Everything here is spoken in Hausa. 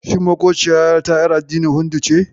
Shi maƙociyata ƴar addinin Hindu ce?